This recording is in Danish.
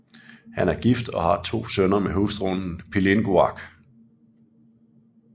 Han er gift og har to sønner med hustruen Pilunnguaq